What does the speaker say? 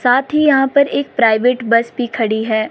साथ ही यहाँं पर एक प्राइवेट बस भी खड़ी है।